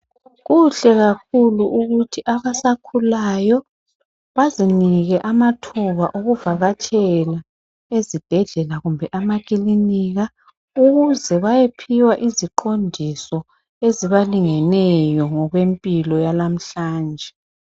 Kuhle kakhulu ukuthi abasakhulayo bazinike amathuba okuvakatshela ezibhedlela kumbe amakilinika. Ukuze bayephiwa iziqondiso ezibalingeneyo ngokwempilo yalamhlanje.